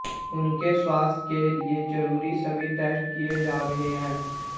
उनके स्वास्थ्य के लिए जरुरी सभी टेस्ट किए जा रहे हैं